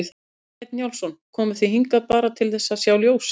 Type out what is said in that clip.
Kjartan Hreinn Njálsson: Komuð þið hingað bara til að sjá ljósin?